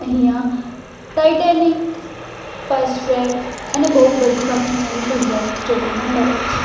અહીંયા Titanic Fastrack અને બૌ બધી કંપનીઓ ની ઘડિયાલ જોવામાં મળે છે.